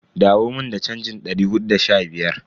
Dawo mun da chanjin dari hudu da sha biyar.